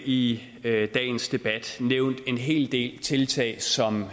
i dagens debat nævnt en hel del tiltag som